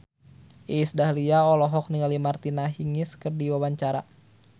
Iis Dahlia olohok ningali Martina Hingis keur diwawancara